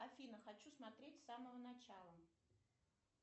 афина хочу смотреть с самого начала